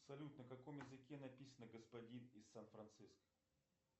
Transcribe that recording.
салют на каком языке написано господин из сан франциско